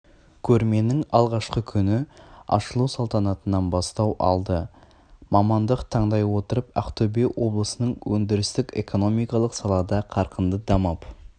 көрменің алғашқы күні ашылу салтанатынан бастау алды мамандық таңдай отырып ақтөбе облысының өндірістік-экономикалық салада қарқынды дамып